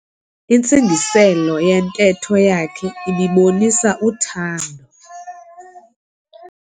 Intsingiselo yentetho yakhe ibibonisa uthando.